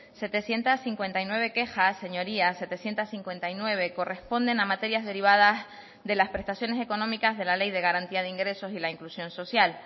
setecientos cincuenta y nueve quejas señorías setecientos cincuenta y nueve corresponden a materias derivadas de las prestaciones económicas de la ley de garantía de ingresos y la inclusión social